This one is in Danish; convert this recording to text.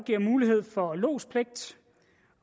giver mulighed for lodspligt